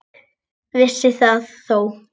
Vissi það þó.